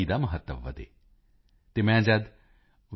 ਦਾ ਮਹੱਤਵ ਵਧੇ ਅਤੇ ਮੈਂ ਜਦ ਵੀ